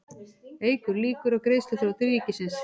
Eykur líkur á greiðsluþroti ríkisins